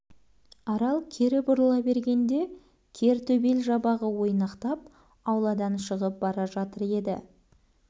арал кері бұрыла бергенде кер төбел жабағы ойнақтап ауладан шығып бара жатыр еді